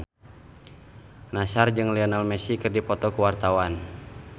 Nassar jeung Lionel Messi keur dipoto ku wartawan